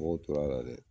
Mɔgɔw tora dɛ